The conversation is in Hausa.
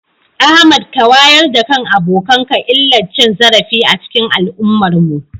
Ahmad ka wayar da kan abokanka illar cin zarafi a cikin al'ummarmu.